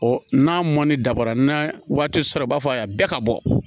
n'a mɔni dafara n'a waati sera i b'a fɔ a y'a bɛɛ ka bɔ